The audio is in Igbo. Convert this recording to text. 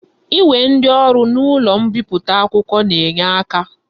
Inwe ndi oru n'ulo mmeputa akwukwo na-enye aka.